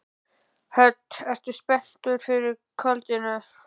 Hödd: Ertu spenntur fyrir kvöldinu?